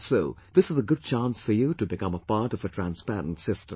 And so, this is a good chance for you to become a part of a transparent system